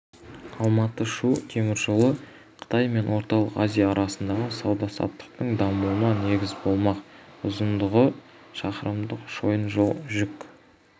алматы-шу теміржолы қытай мен орталық азия арасындағы сауда-саттықтың дамуына негіз болмақ ұзындығы шақырымдық шойын жол жүк